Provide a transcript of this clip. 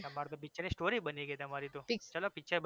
તમારે તો picture ની story બની ગઈ તમારી તો ચલો picture